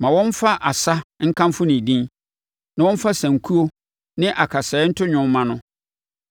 Ma wɔmfa asa nkamfo ne din na wɔmfa sankuo ne akasaeɛ nto dwom mma no.